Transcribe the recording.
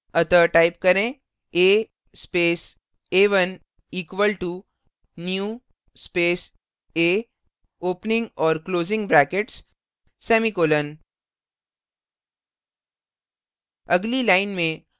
अतः type करें a space a1 equal to new space a opening और closing brackets semicolon